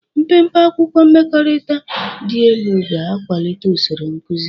Mpempe akwụkwọ mmekọrịta dị elu ga-akwalite usoro nkuzi.